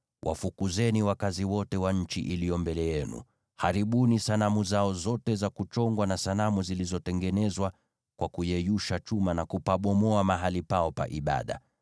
wafukuzeni wakazi wote wa nchi iliyo mbele yenu. Haribuni sanamu zao zote za kuchongwa, na sanamu zilizotengenezwa kwa kuyeyusha chuma, na kupabomoa mahali pao pa ibada.